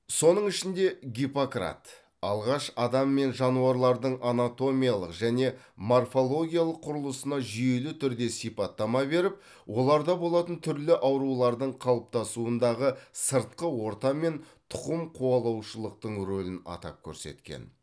соның ішінде гиппократ алғаш адам мен жануарлардың анатомиялық және морфологиялық құрылысына жүйелі түрде сипаттама беріп оларда болатын түрлі аурулардың қалыптасуындағы сыртқы орта мен тұқым қуалаушылықтың рөлін атап көрсеткен